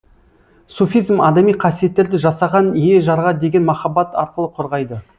суфизм адами қасиеттерді жасаған ие жарға деген махаббат арқылы қорғайды